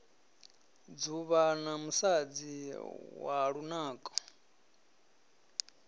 dzuvha na musadzi wa lunako